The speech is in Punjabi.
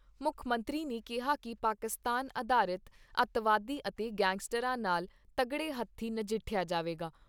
ਮੁੱਖ ਮੰਤਰੀ ਨੇ ਕਿਹਾ ਕਿ ਪਾਕਿਸਤਾਨ ਅਧਾਰਿਤ ਅੱਤਵਾਦੀਆਂ ਅਤੇ ਗੈਗਸਟਰਾਂ ਨਾਲ ' ਤੱਗੜੇ ਹੱਥੀ ' ਨਜਿਠਿਆ ਜਾਵੇਗਾ।